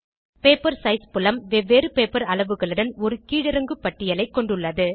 paper size புலம் வெவ்வேறு paper அளவுகளுடன் ஒரு கீழிறங்கு பட்டியலைக் கொண்டுள்ளது